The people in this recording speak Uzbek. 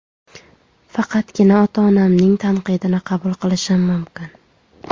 Faqatgina ota-onamning tanqidini qabul qilishim mumkin.